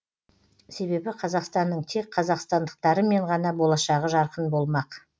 себебі қазақстанның тек қазақстандықтарымен ғана болашағы жарқын болмақ